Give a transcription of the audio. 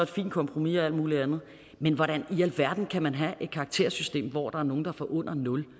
fint kompromis og alt muligt andet men hvordan i alverden kan man have et karaktersystem hvor der er nogle der får under 0